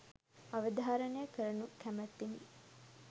අවධාරණය කරනු කැමැත්තෙමි